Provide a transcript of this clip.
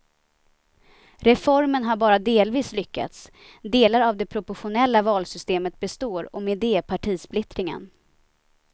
Reformen har bara delvis lyckats, delar av det proportionella valsystemet består och med det partisplittringen.